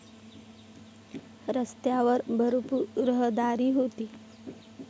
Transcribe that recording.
रस्त्यावर भरपूर रहदारी होती.